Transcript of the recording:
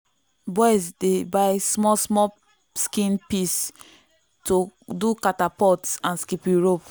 boys dey buy small small skin piece to do catapult and skipping rope.